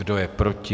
Kdo je proti?